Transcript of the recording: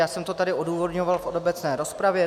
Já jsem to tady odůvodňoval v obecné rozpravě.